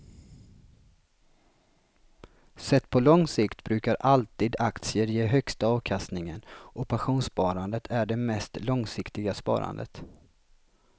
Sett på lång sikt brukar alltid aktier ge högsta avkastningen och pensionssparande är det mest långsiktiga sparandet.